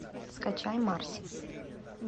скачай марси